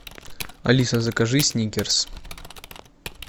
алиса закажи сникерс